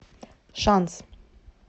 шанс